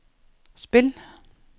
spil